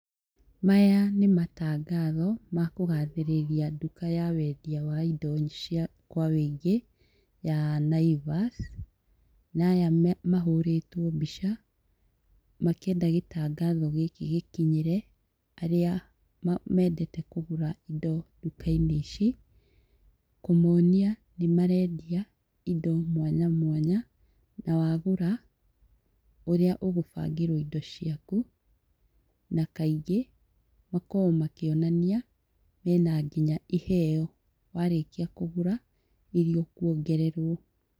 Maya nĩ matangatho ma kũgathĩrĩria nduka ya wendia wa indo cia kwa ũingĩ ya Naivas, na aya mahũrĩtwo mbica, makĩenda gĩtangatho gĩkĩ gĩkinyĩre arĩa mendete kũgũra indo duka-inĩ ici, kũmonia nĩ marendia indo mwanya mwanya, na wagũra, ũrĩa ũgũbangĩrwo indo ciaku, na kaingĩ makoragwo makĩonania mena nginya iheo warĩkia kũgũra iria ũkuongererwo.